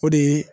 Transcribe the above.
O de ye